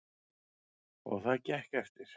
Og það gekk eftir.